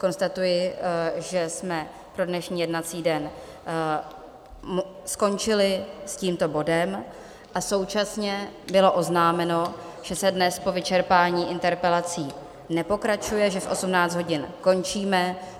Konstatuji, že jsme pro dnešní jednací den skončili s tímto bodem, a současně bylo oznámeno, že se dnes po vyčerpání interpelací nepokračuje, že v 18 hodin končíme.